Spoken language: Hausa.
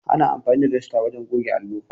Ana amfani da dasta wajen goge allo.